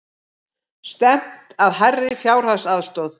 Stefnt að hærri fjárhagsaðstoð